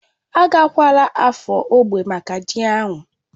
Agakwala Afo ógbè maka ji ahu?